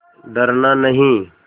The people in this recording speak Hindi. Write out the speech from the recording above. डरना नहीं